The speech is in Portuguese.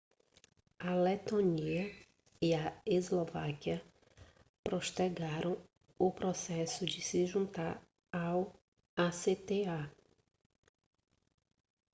a letônia e a eslováquia postergaram o processo de se juntar ao acta